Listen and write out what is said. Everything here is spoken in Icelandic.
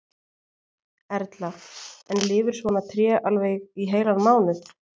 Erla: En lifir svona tré alveg í heilan mánuð?